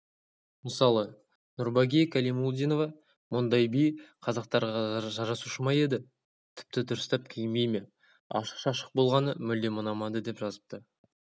мысалы нурбаги калимулдинова мұндай би қазақтарга жарасушы ма еді тіптідурыстап киінбейме ашық-шашық болғанымүлдем ұнамады деп жазыпты